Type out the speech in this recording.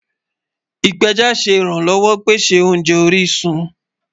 Ipẹjá ìrànlọ́wọ̀ pẹ̀sẹ̀ ọ̀nje orisun